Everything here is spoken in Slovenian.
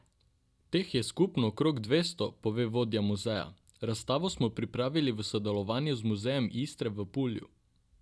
Teh je skupno okrog dvesto, pove vodja muzeja: 'Razstavo smo pripravili v sodelovanju z muzejem Istre v Pulju.